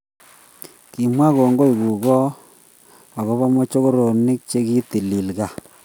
kimwa kongoi kugo agobo mokochoronik chegitilil gaa